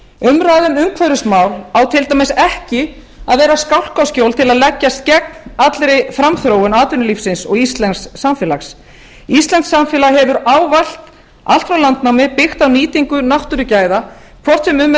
umræðan um umhverfismál á til dæmis ekki að vera skálkaskjól til að leggjast gegn allri framþróun atvinnulífsins og íslensks samfélags íslenskt samfélag hefur ávallt allt frá landnámi byggt á nýtingu náttúrugæða hvort sem um er að